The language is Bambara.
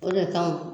O de kama